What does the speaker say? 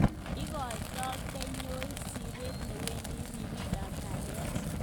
Ikoitoi kanyoik siret newendi ribik ab kaliet.